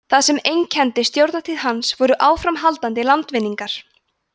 það sem einkenndi stjórnartíð hans voru áframhaldandi landvinningar